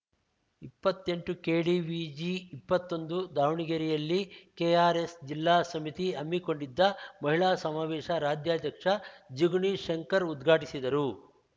ಇಪ್ಪತ್ತೆಂಟುಕೆಡಿವಿಜಿಇಪ್ಪತ್ತೊಂದು ದಾವಣಗೆರೆಯಲ್ಲಿ ಕೆಆರ್‌ಎಸ್‌ ಜಿಲ್ಲಾ ಸಮಿತಿ ಹಮ್ಮಿಕೊಂಡಿದ್ದ ಮಹಿಳಾ ಸಮಾವೇಶ ರಾಜ್ಯಾಧ್ಯಕ್ಷ ಜಿಗಣಿ ಶಂಕರ್‌ ಉದ್ಘಾಟಿಸಿದರು